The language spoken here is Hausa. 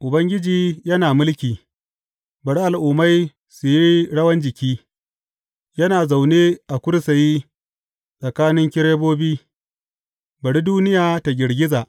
Ubangiji yana mulki, bari al’ummai su yi rawan jiki; yana zaune a kursiyi tsakanin kerubobi, bari duniya ta girgiza.